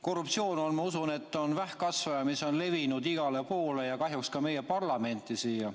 Korruptsioon on, ma usun, vähkkasvaja, mis on levinud igale poole ja kahjuks ka meie parlamenti siia.